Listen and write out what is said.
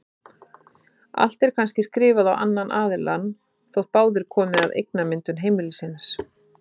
Allt er kannski skrifað á annan aðilann þótt báðir komi að eignamyndun heimilisins.